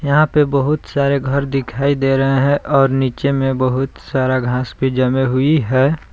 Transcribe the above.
यहां पे बहुत सारे घर दिखाई दे रहे है और नीचे में बहुत सारा घास भी जमे हुई है।